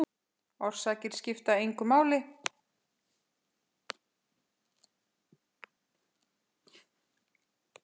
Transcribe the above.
Orsakir skipta engu máli.